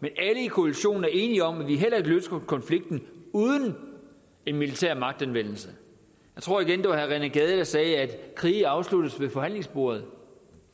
men alle i koalitionen er enige om at vi heller ikke løser konflikten uden en militær magtanvendelse jeg tror igen det var herre rené gade der sagde at krige afsluttes ved forhandlingsbordet